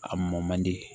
A mɔn man di